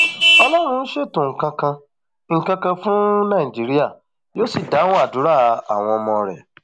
ọlọrun ń ṣètò nǹkan kan nǹkan kan fún nàìjíríà yóò sì dáhùn àdúrà àwọn ọmọ rẹ